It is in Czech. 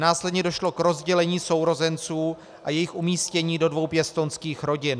Následně došlo k rozdělení sourozenců a jejich umístění do dvou pěstounských rodin.